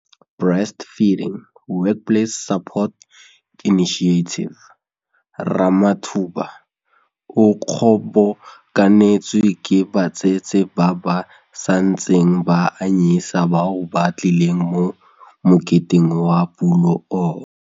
Ramathuba o kgobokanetswe ke batsetse ba ba santseng ba anyisa bao ba tlileng mo moketeng wa pulo ono.